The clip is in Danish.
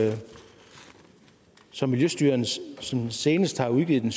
det som miljøstyrelsen senest har udgivet den